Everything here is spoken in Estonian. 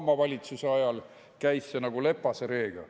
Obama valitsuse ajal käis see nagu lepase reega.